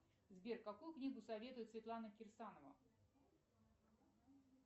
сбер какую книгу советует светлана кирсанова